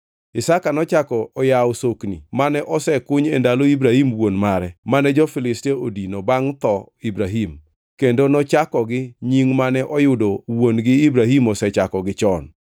Isaka nochako oyawo sokni mane osekuny e ndalo Ibrahim wuon mare, mane jo-Filistia odino bangʼ tho Ibrahim, kendo nochakogi nying mane oyudo wuon-gi Ibrahim osechakogi chon.